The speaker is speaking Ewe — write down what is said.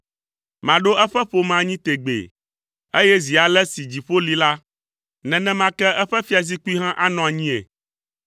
Maɖo eƒe ƒome anyi tegbee, eye zi ale si dziƒo li la, nenema ke eƒe fiazikpui hã anɔ anyii.